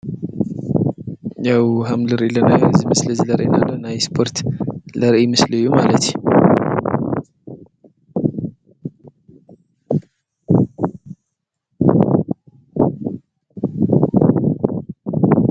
ያው ሃምሊ ርኢለናይ ዝምስሊ ዝለሬናለ ናይ ስጶርት ለርኢ ምስል እዩ ማለቲ።